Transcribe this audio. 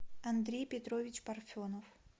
андрей петрович парфенов